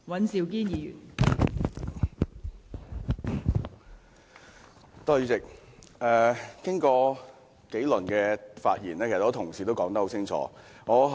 代理主席，經過數輪發言後，很多同事都已經很清楚地表達意見。